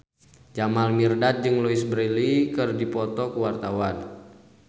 Jamal Mirdad jeung Louise Brealey keur dipoto ku wartawan